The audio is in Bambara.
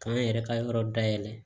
K'an yɛrɛ ka yɔrɔ dayɛlɛ